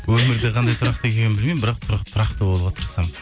өмірде қандай тұрақты екенімді білмеймін бірақ тұрақты болуға тырысамын